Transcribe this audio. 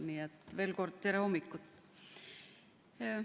Nii et veel kord: tere hommikust!